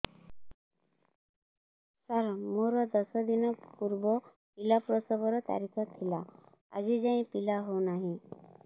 ସାର ମୋର ଦଶ ଦିନ ପୂର୍ବ ପିଲା ପ୍ରସଵ ର ତାରିଖ ଥିଲା ଆଜି ଯାଇଁ ପିଲା ହଉ ନାହିଁ